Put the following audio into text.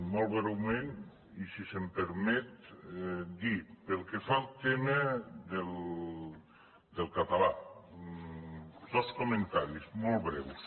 molt breument i si se’m permet dir pel que fa al tema del català dos comentaris molt breus